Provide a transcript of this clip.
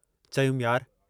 चयुमि, यार!